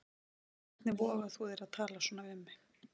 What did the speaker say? Hvernig vogar þú þér að tala svona við mig.